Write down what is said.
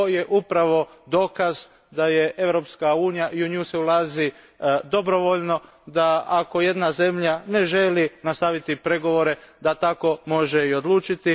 Ovo je upravo dokaz da je Europska unija i u nju se ulazi dobrovoljno, da ako jedna zemlja ne želi nastaviti pregovore da tako može i odlučiti.